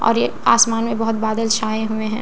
और ये आसमान में बहोत बादल छाए हुए हैं।